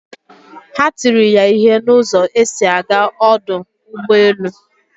Ha tiri ya ihe na ụzọ esi aga ọdụ ụgbọ elu